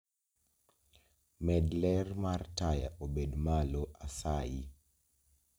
Med ler mar taya obed malo asayi